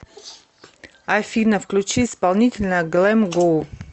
афина включи исполнителя глэм гоу